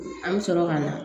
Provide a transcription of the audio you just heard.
An bɛ sɔrɔ ka na